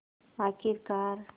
आख़िरकार